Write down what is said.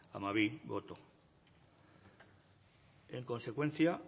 amabi boto en consecuencia